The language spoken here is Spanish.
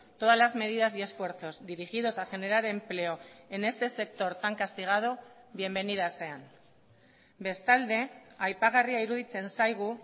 todas las medidas y esfuerzos dirigidos a generar empleo en este sector tan castigado bienvenidas sean bestalde aipagarria iruditzen zaigu